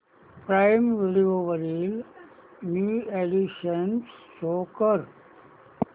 prime Video वरील new additions show कर